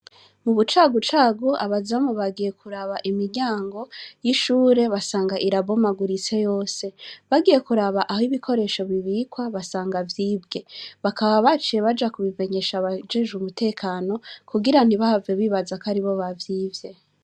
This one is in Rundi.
Mubucagucagu abazamu bagiye kuraba imiryango yishure basanga irabomaguritse yose, bagiye kuraba aho ibikoresho bibikwa basanga vyibwe, bakaba baciye baja kubimenyesha abajejwe umutekano kugira ntibahave bibazako aribo bavyivye.